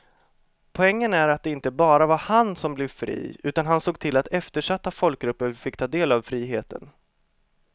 Poängen är att det inte bara var han som blev fri utan han såg till att eftersatta folkgrupper fick ta del av friheten.